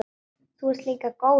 Þú ert líka góður.